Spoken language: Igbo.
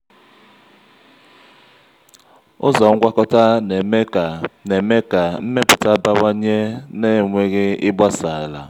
ụzọ ngwakọta na-eme ka na-eme ka mmepụta bawanye na-enweghị ịgbasa ala.